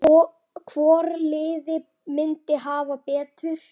Hvort liðið myndi hafa betur?